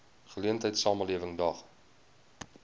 geleentheid samelewing daag